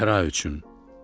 Zəhra üçün.